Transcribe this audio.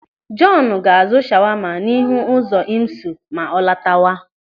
Jọọnu ga-azụ shawama n'ihu ụzọ IMSU ma ọ latawa.